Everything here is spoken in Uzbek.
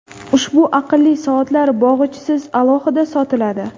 Ushbu aqlli soatlar bog‘ichisiz, alohida sotiladi.